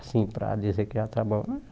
Assim, para dizer que já trabalhou.